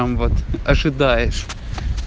там вот ожидаешь